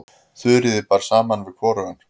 Þuríði bar saman við hvorugan.